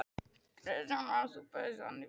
Kristján Már: En þú bauðst hann velkomin?